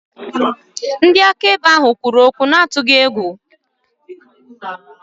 Ndị akaebe ahụ kwuru okwu n'atụghị egwu.